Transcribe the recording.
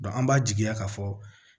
an b'a jigiya k'a fɔ